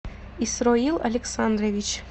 исроил александрович